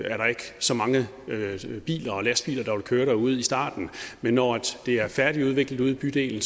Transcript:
så mange biler og lastbiler der vil køre derude i starten men når det er færdigudviklet ude i bydelen